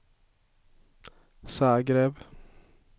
Zagreb